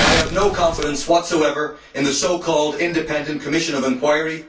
I have no confidence whatsoever in the so called Independent Commission of Inquiry.